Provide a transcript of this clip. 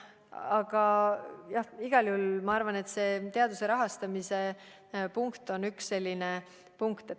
Aga igal juhul ma arvan, et see teaduse rahastamise punkt on üks väga oluline punkt.